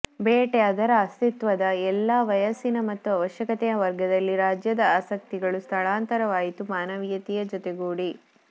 ಬೇಟೆ ಅದರ ಅಸ್ತಿತ್ವದ ಎಲ್ಲಾ ವಯಸ್ಸಿನ ಮತ್ತು ಅವಶ್ಯಕತೆಯ ವರ್ಗದಲ್ಲಿ ರಾಜ್ಯದ ಆಸಕ್ತಿಗಳು ಸ್ಥಳಾಂತರವಾಯಿತು ಮಾನವೀಯತೆಯ ಜೊತೆಗೂಡಿ